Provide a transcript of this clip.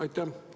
Aitäh!